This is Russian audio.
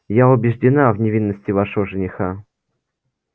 я убеждена в невинности вашего жениха